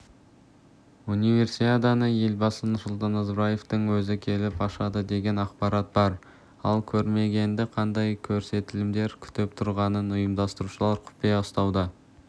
универсиаданы елбасы нұрсұлтан назарбаевтың өзі келіп ашады деген ақпарат бар ал көрерменді қандай көрсетілімдер күтіп тұрғанын ұймдастырушылар құпия ұстауда